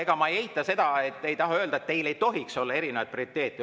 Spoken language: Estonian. Ega ma ei eita seda ega taha öelda, et teil ei tohiks olla erinevaid prioriteete.